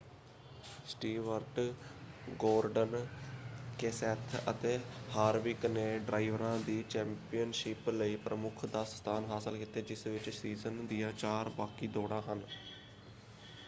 Stewart Gordon Kenseth ਅਤੇ Harvick ਨੇ ਡਰਾਈਵਰਾਂ ਦੀ ਚੈਂਪੀਅਨਸ਼ਿਪ ਲਈ ਪ੍ਰਮੁੱਖ 10 ਸਥਾਨ ਹਾਸਲ ਕੀਤੇ ਜਿਸ ਵਿੱਚ ਸੀਜ਼ਨ ਦੀਆਂ ਚਾਰ ਬਾਕੀ ਦੌੜਾਂ ਹਨ।